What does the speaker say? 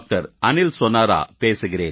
அநில் சோனாரா பேசுகிறேன்